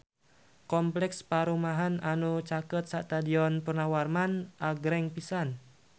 Kompleks perumahan anu caket Stadion Purnawarman agreng pisan